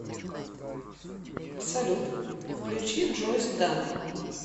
салют включи джози данн